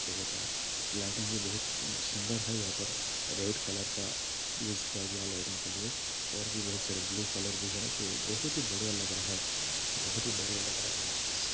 lighting है बहुत सुन्दर है यहा पर रेड कलर का यूज़ किया हुआ लाइटिंग के लिए और भी बहुत सारे ब्लू कलर भी है तो बहुत ही बढ़िया लग रहा है बहुत ही बढ़िया लग रहा है ये चीज़--